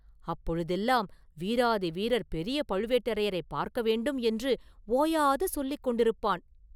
அப்பொழுதெல்லாம் ‘வீராதி வீரர் பெரிய பழுவேட்டரையரைப் பார்க்க வேண்டும்’ என்று ஓயாது சொல்லிக் கொண்டிருப்பான்.